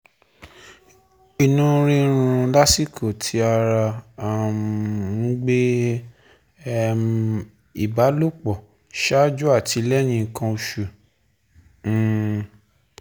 Ìnu rirun lasiko ti ara um n gbe, um ìbálòpọ̀, ṣáájú àti lẹ́yìn nkan osu um